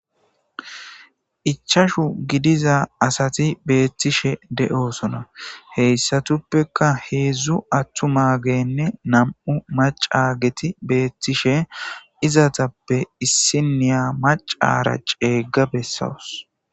ichashu gidiza asati beettishe de7osona heyssatuppeka heedzdzu attu ma genne nam7u macageti beettishe izatappe issiniya macara ceegga bessawus